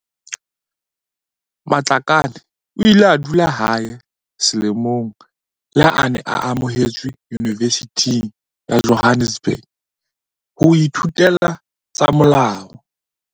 Matlakane o ile a dula hae selemo leha a ne a amohetswe Yunivesithing ya Johannesburg ho ithutela tsa molao.